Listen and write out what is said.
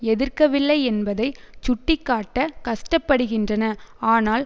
எதிர்க்கவில்லை என்பதை சுட்டிக்காட்ட கஷ்டப்படுகின்றன ஆனால்